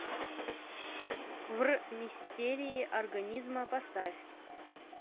в р мистерии организма поставь